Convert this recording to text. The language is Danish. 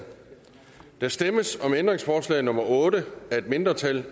der stemmes om ændringsforslag nummer otte af et mindretal